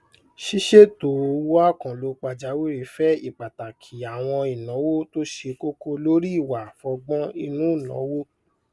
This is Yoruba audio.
sísètò owó àkànlò pàjàwìrì fẹ ìpàtàkì àwọn ìnáwó tó ṣe kókó lórí ìwà àfọgbọn inú nàwó